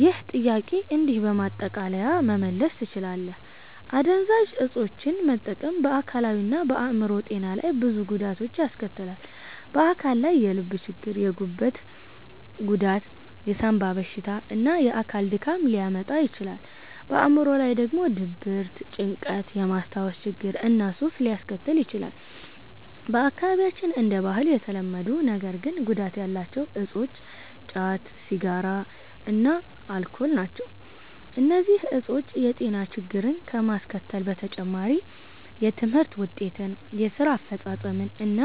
ይህን ጥያቄ እንዲህ በማጠቃለያ መመለስ ትችላለህ፦ አደንዛዥ እፆችን መጠቀም በአካላዊ እና በአዕምሮአዊ ጤና ላይ ብዙ ጉዳቶችን ያስከትላል። በአካል ላይ የልብ ችግር፣ የጉበት ጉዳት፣ የሳንባ በሽታ እና የአካል ድካም ሊያመጣ ይችላል። በአዕምሮ ላይ ደግሞ ድብርት፣ ጭንቀት፣ የማስታወስ ችግር እና ሱስ ሊያስከትል ይችላል። በአካባቢያችን እንደ ባህል የተለመዱ ነገር ግን ጉዳት ያላቸው እፆች ጫት፣ ሲጋራ እና አልኮል ናቸው። እነዚህ እፆች የጤና ችግሮችን ከማስከተል በተጨማሪ የትምህርት ውጤትን፣ የስራ አፈጻጸምን እና